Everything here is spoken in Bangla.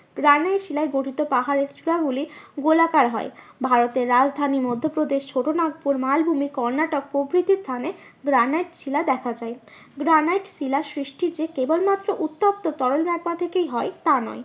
গ্রানাইট শিলায় গঠিত পাহাড়ে চূড়া গুলি গোলাকার হয়। ভারতের রাজধানী মধ্যপ্রদেশ ছোটোনাগপুর মালভূমি কর্ণাটক প্রভৃতি স্থানে গ্রানাইট শিলা দেখা যায়। গ্রানাইট শিলা সৃষ্টি যে কেবল মাত্র উত্তপ্ত তরল হয় তা নয়।